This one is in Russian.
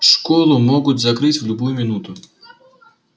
школу могут закрыть в любую минуту